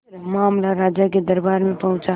मामला राजा के दरबार में पहुंचा